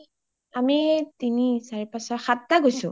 আমি তিনি, চাৰি ,পাঁচ, ছয়, সাতটা গৈছো